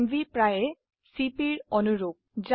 MV প্ৰায় CP এৰ অনুৰুপ